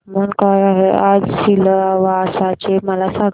तापमान काय आहे आज सिलवासा चे मला सांगा